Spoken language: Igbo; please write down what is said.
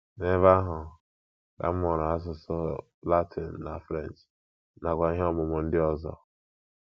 N’ebe ahụ ka m mụrụ asụsụ Latin na French, nakwa ihe ọmụmụ ndị ọzọ.